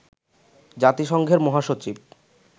জাতিসংঘের মহাসচিব